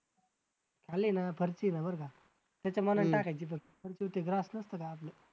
खाली ना फरशी येत्या बरं का